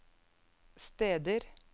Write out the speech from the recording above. steder